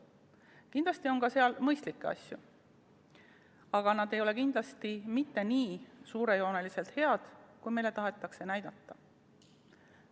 Kindlasti on seal ka mõistlikke asju, aga need ei ole kindlasti mitte nii suurejooneliselt head, kui meile tahetakse näidata.